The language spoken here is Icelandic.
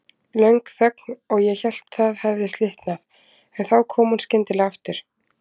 Löng þögn og ég hélt það hefði slitnað, en þá kom hún skyndilega aftur.